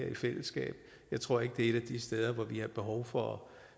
i fællesskab jeg tror ikke det er et af de steder hvor vi har behov for